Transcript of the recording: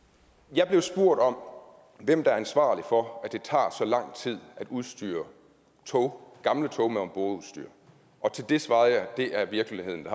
jeg blev spurgt om hvem der er ansvarlig for at det tager så lang tid at udstyre tog gamle tog med ombordudstyr og til det svarede jeg det er virkeligheden